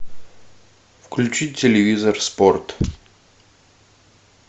включи телевизор спорт